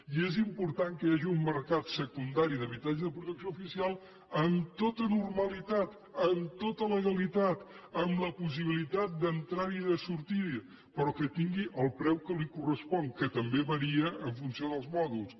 i és important que hi hagi un mercat secundari d’habitatge de protecció oficial amb tota normalitat amb tota legalitat amb la possibilitat d’entrar hi i de sortir hi però que tingui el preu que li correspon que també varia en funció dels mòduls